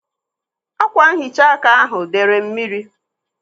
Ákwànhicha áká ahu dere mmiri.